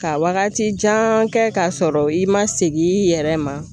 Ka wagati jan kɛ k'a sɔrɔ i ma segin i yɛrɛ ma.